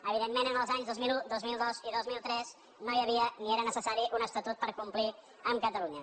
evident·ment en els anys dos mil un dos mil dos i dos mil tres no hi havia ni era necessari un estatut per complir amb catalunya